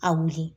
A wuli